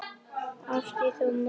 Árstíð þó á mörgu lumar.